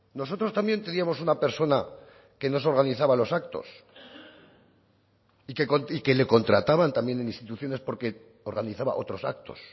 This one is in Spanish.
nosotros también teníamos una persona que nos organizaba los actos y que le contrataban también en instituciones porque organizaba otros actos